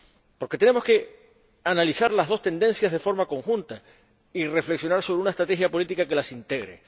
Porque tenemos que analizar las dos tendencias de forma conjunta y reflexionar sobre una estrategia política que las integre.